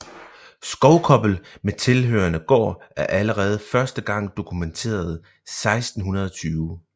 Skovkobbel med tilhørende gård er allerede første gang dokumenteret 1620